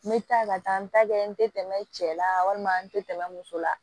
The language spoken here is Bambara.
N bɛ taa ka taa n ta kɛ n tɛ tɛmɛ cɛ la walima n tɛ tɛmɛ muso la